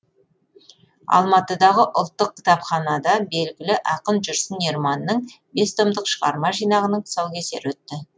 алматыдағы ұлттық кітапханада белгілі ақын жүрсін ерманның бес томдық шығарма жинағының тұсаукесері өтті